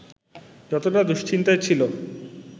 যতটা দুশ্চিন্তায় ছিল